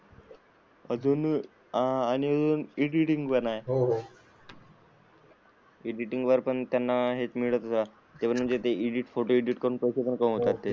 अजून हा एडिटिंग पण आहे. हो एडिटिंग वर पण त्यांना हेच मिळतच असणार ते म्हणजे एडिट फोटो एडिट करून पैसे कमावतात ते.